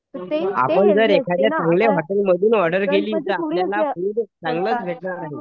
आपण जर एखाद्या चांगल्या हॉटेल मधून ऑर्डर केली तर आपल्याला फूड चांगलंच भेटणार आहे.